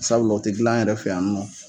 Sabulalɔ o tɛ dilan an yɛrɛ fɛ yan ni nɔ